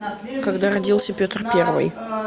когда родился петр первый